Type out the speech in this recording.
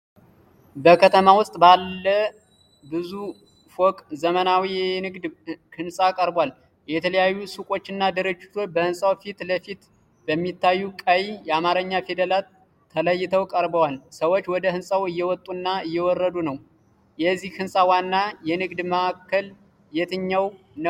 በከተማ ውስጥ ባለ ባለ ብዙ ፎቅ ዘመናዊ የንግድ ሕንፃ ቀርቧል። የተለያዩ ሱቆችና ድርጅቶች በህንፃው ፊት ለፊት በሚታዩ ቀይ የአማርኛ ፊደላት ተለይተው ቀርበዋል። ሰዎች ወደ ሕንፃው እየወጡና እየወረዱ ነው፤ የዚህ ሕንፃ ዋና የንግድ ማዕከል የትኛው ነው?